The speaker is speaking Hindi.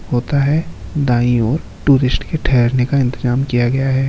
होता है दाईं और टूरिस्ट का ठेहरने का इंतज़ाम किया गया है।